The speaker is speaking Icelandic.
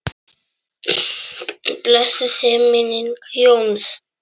Blessuð sé minning Jóns.